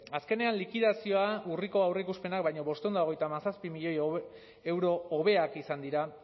azkenean likidazioa urriko aurreikuspenak baino bostehun eta hogeita hamazazpi milioi euro hobeak izan dira